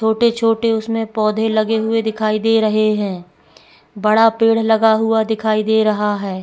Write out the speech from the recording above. छोटे-छोटे उसमें पौधे लगे हुए दिखाई दे रहे हैं बड़ा पेड़ लगा हुआ दिखाई दे रहा है।